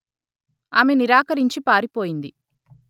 ఆమె నిరాకరించి పారిపోయింది